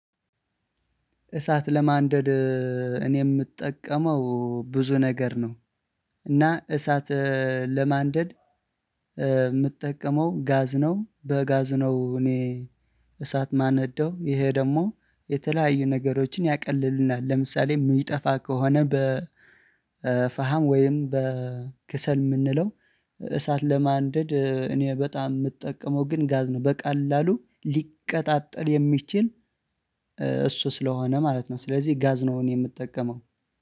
እሳት ለማንደድ እኔ የምጠቀመው ብዙ ነገር ነው። እና እሳት ለማንደድ የምትጠቀመው ጋዝ ነው በጋዝ ነው። እኔ እሳት ማነደው ይሄ ደግሞ የተለያዩ ነገሮችን ያቀልልናል። ለምሳሌ የሚጠፋ ከሆነ በ ፈሃም ወይም በ ክሰል የምንለው። እሳት ለማንደድ እኔ በጣም የምጠቀመው ግን ጋዝ ነው በቀላሉ ሊቀጣጠል የሚችል እሱ ስለሆነ ማለት ነው። ስለዚህ ጋዝ ነው የምጠቀመው